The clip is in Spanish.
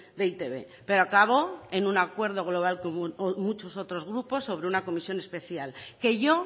de e i te be pero acabó en un acuerdo global con muchos otros grupos sobre una comisión especial que yo